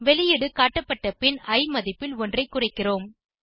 வெளியீடு காட்டப்பட்ட பின் இ மதிப்பில் ஒன்றை குறைக்கிறோம்